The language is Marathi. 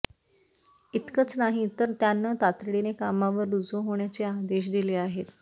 इतकंच नाही तर त्यांना तातडीने कामावर रुजू होण्याचे आदेश दिले आहेत